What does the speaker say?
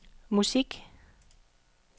musik